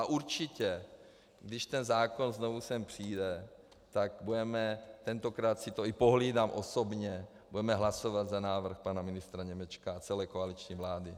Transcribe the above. A určitě když ten zákon znovu sem přijde, tak budeme, tentokrát si to i pohlídám osobně, budeme hlasovat pro návrh pana ministra Němečka a celé koaliční vlády.